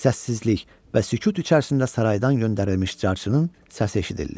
Səssizlik və sükut içərisində saraydan göndərilmiş carçının səsi eşidildi.